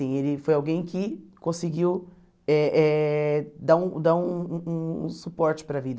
Ele foi alguém que conseguiu eh eh dar um dar um um um suporte para a vida.